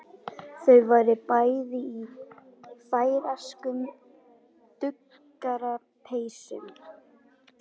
Þau voru bæði í færeyskum duggarapeysum.